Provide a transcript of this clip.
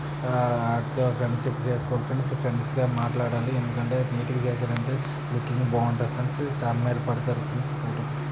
ఆ అడితో friendship .friends గా మాట్లాడాలి. ఎందుకంటే